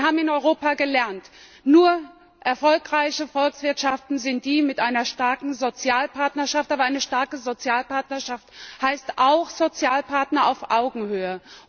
Wir haben in Europa gelernt, dass erfolgreiche Volkswirtschaften diejenigen mit einer starken Sozialpartnerschaft sind. Aber eine starke Sozialpartnerschaft heißt auch Sozialpartner auf Augenhöhe.